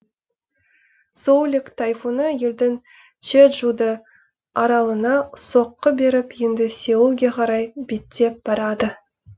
соулик тайфуны елдің чеджудо аралына соққы беріп енді сеулге қарай беттеп барады